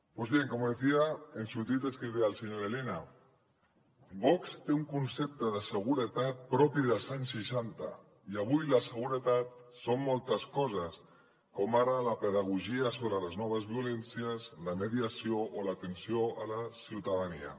pues bien como decía en su tuit escribía el señor elena vox té un concepte de seguretat propi dels anys seixanta i avui la seguretat són moltes coses com ara la pedagogia sobre les noves violències la mediació o l’atenció a la ciutadania